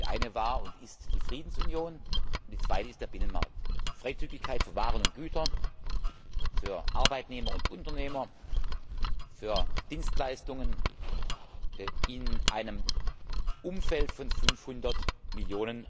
Die eine war und ist die Friedensunion, die zweite ist der Binnenmarkt. Freizügigkeit für Waren und Güter, für Arbeitnehmer und Unternehmen, für Dienstleistungen in einem Umfeld von 500 Millionen